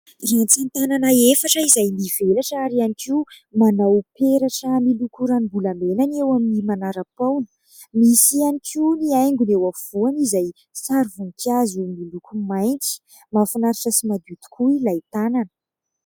Ratsan-tànana efatra izay mivelatra ary ihany koa manao peratra miloko ranombolamena ny eo amin'ny manara-poana. Misy ihany koa ny haingony eo afovoany izay sary voninkazo miloko mainty. Mahafinaritra sy madio tokoa ilay tànana.